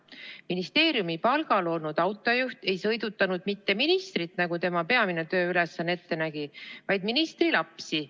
Ministeeriumi palgal olnud autojuht ei sõidutanud mitte ministrit, nagu tema peamine tööülesanne ette nägi, vaid ministri lapsi.